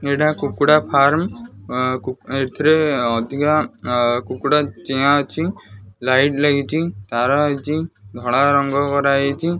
ଏଇଟା କୁଡୁଡ଼ା ଫାର୍ମ ଅଁ ଏଥିରେ ଅଧିକା ଅ କୁକୁଡ଼ା ଚିଆଁ ଅଛି ଲାଇଟ୍ ଲାଗିଚି ତାର ଆଇଚି ଧଳା ରଙ୍ଗ କର ହେଇଚି।